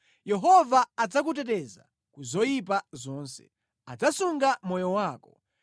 Yehova adzakuteteza ku zoyipa zonse; adzasunga moyo wako.